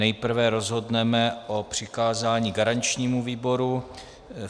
Nejprve rozhodneme o přikázání garančnímu výboru.